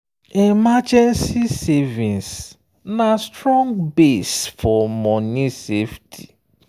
emergency savings na strong base for money safety.